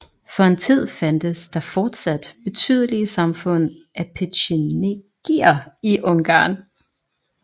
For en tid fandtes der fortsat betydelige samfund af petjenegier i Ungarn